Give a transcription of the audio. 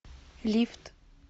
лифт